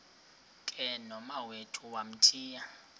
ke nomawethu wamthiya